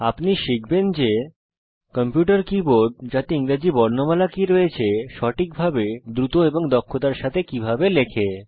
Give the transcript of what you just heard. আপনি শিখবেন যে কম্পিউটার কীবোর্ড যাতে ইংরেজি বর্ণমালা কি রয়েছে সঠিকভাবে দ্রুত এবং দক্ষতার সাথে কিভাবে লেখে